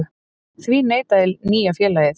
Því neitaði nýja félagið